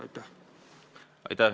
Aitäh!